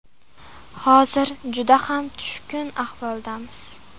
Hozir juda ham tushkun ahvoldamiz.